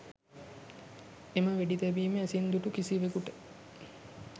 එම වෙඩි තැබීම ඇසින් දුටු කිසිවෙකුට